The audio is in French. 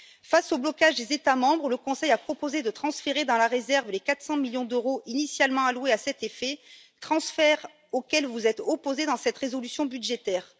Face au blocage des États membres, le Conseil a proposé de transférer dans la réserve les 400 millions d'euros initialement alloués à cet effet, transfert auquel vous vous êtes opposés dans cette résolution budgétaire.